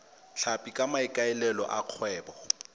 tlhapi ka maikaelelo a kgwebo